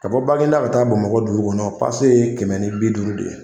Ka baginda ka taa bamakɔ dugu kɔnɔ pase ye kɛmɛ ni bi duuru de ye